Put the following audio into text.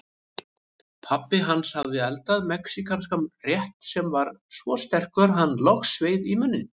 Pabbi hans hafði eldað mexíkanskan rétt sem var svo sterkur að hann logsveið í munninn.